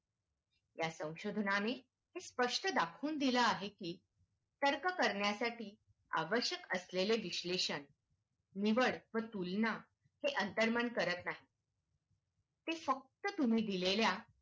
या स्वसोधनाने स्पष्ट दाखवून दिले आहे की तर्क करण्यासाठी आवश्यक असलेले विश्लेशन निवड व तुलना हे अंतर्मन करत नाही ते फक्त तुम्ही दिलेल्या